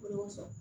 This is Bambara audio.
O de y'o fɔ